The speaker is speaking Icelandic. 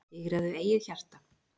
Sigraðu eigið hjarta,